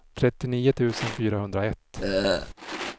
trettionio tusen fyrahundraett